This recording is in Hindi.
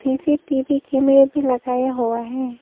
सी_सी_टी_वी कैमरा भी लगाया हुआ है।